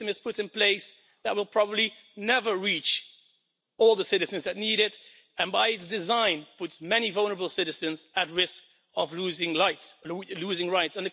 And a system is put in place that will probably never reach all the citizens that need it and, by its design, puts many vulnerable citizens at risk of losing rights.